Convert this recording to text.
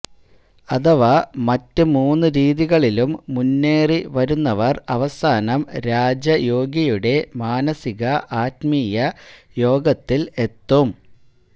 അഥവാ മറ്റ് മൂന്ന് രീതികളിലും മുന്നേറി വരുന്നവര് അവസാനം രാജയോഗിയുടെ മാനസിക ആത്മീയ യോഗത്തില് എത്തും